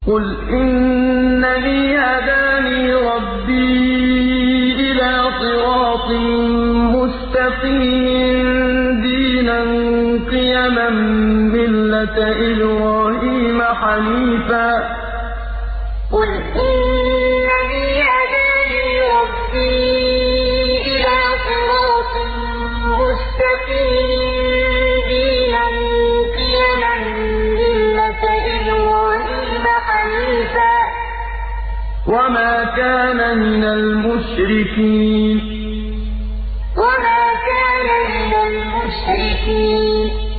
قُلْ إِنَّنِي هَدَانِي رَبِّي إِلَىٰ صِرَاطٍ مُّسْتَقِيمٍ دِينًا قِيَمًا مِّلَّةَ إِبْرَاهِيمَ حَنِيفًا ۚ وَمَا كَانَ مِنَ الْمُشْرِكِينَ قُلْ إِنَّنِي هَدَانِي رَبِّي إِلَىٰ صِرَاطٍ مُّسْتَقِيمٍ دِينًا قِيَمًا مِّلَّةَ إِبْرَاهِيمَ حَنِيفًا ۚ وَمَا كَانَ مِنَ الْمُشْرِكِينَ